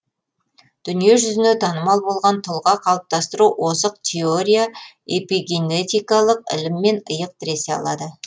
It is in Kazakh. дүние жүзіне танымал болған тұлға қалыптастыру озық теория эпигенетикалық іліммен иық тіресе алады